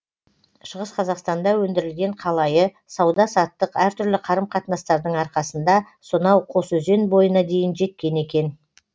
шығыс қазақстанда өндірілген қалайы сауда саттық әртүрлі қарым қатынастардың арқасында сонау қосөзен бойына дейін жеткен екен